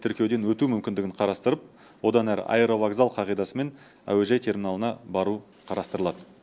тіркеуден өту мүмкіндігін қарастырып одан әрі аэровокзал қағидасымен әуежай терминалына бару қарастырылады